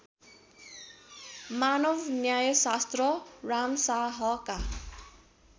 मानव न्यायशास्त्र रामशाहका